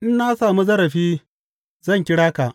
In na sami zarafi, zan kira ka.